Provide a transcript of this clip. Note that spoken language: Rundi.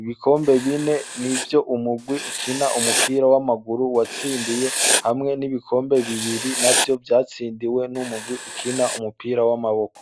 ,ibikombe bine nivyo umugwi ukina umupira w'amaguru watsindiye hamwe n'ibikombe bibiri navyo vyatsindiwe n'umugwi ukina umupira w'amaboko.